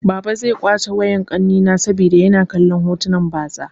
Baba zai kwace wayar ƙanina saboda yana kallon hotunan batsa.